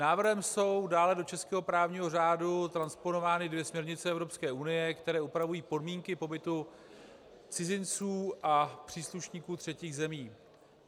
Návrhem jsou dále do českého právního řádu transponovány dvě směrnice Evropské unie, které upravují podmínky pobytu cizinců a příslušníků třetích zemí.